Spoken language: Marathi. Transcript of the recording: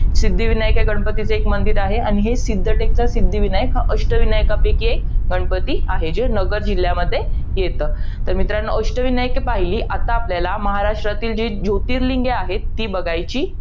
सिद्धिविनायक हे गणपतीचे एक मंदिर आहे. आणि हे सिद्धटेकचा सिद्धिविनायक हा अष्टविनायकापैकी एक, गणपती आहे. जो नगर जिल्ह्यामध्ये येतं. तर मित्रांनो, अष्टविनायक पाही, आता आपल्याला महाराष्ट्रातील जी जोतीर्लींगे आहेत. ती बघायची